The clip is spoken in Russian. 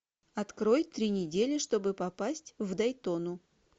открой три недели чтобы попасть в дайтону